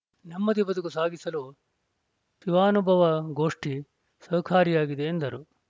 ನೆಮ್ಮದಿ ಬದುಕು ಸಾಗಿಸಲು ಶಿವಾನುಭವಗೋಷ್ಠಿ ಸಹಕಾರಿಯಾಗಿದೆ ಎಂದರು